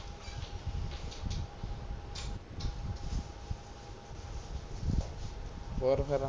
ਹੋਰ ਫੇਰ